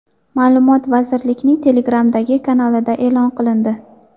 Ma’lumot vazirlikning Telegram’dagi kanalida e’lon qilindi .